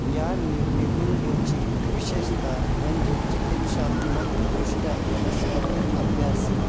या निघंटुची विशेषतः म्हणजे चिकित्सात्मक दृष्ट्या वनस्पती अभ्यास.